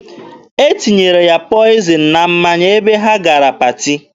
E tinyere ya pọịzịn na mmanya ebe ha gara paati.